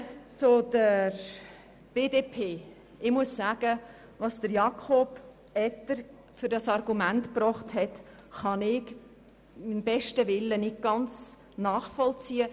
Zur BDP: Das Argument von Jakob Etter kann ich beim besten Willen nicht ganz nachvollziehen.